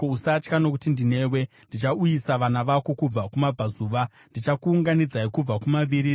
Usatya, nokuti ndinewe; ndichauyisa vana vako kubva kumabvazuva, ndichakuunganidzai kubva kumavirira.